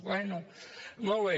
bé molt bé